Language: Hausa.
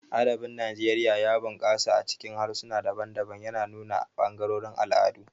Adabin Najeriya ya bunƙasa a cikin harsuna daban-daban, yana nuna ɓangarorin al'adu.